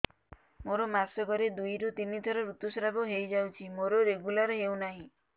ମୋର ମାସ କ ରେ ଦୁଇ ରୁ ତିନି ଥର ଋତୁଶ୍ରାବ ହେଇଯାଉଛି ମୋର ରେଗୁଲାର ହେଉନାହିଁ